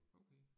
Okay